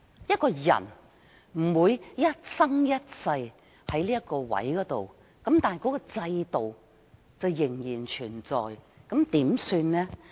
一個人不會一生一世留在同一崗位，但制度卻仍然存在，怎麼辦？